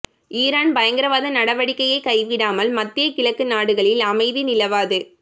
Iran பயங்கரவாத நடவடிக்கையை கைவிடாமல் மத்திய கிழக்கு நாடுகளில் அமைதி நிலவாது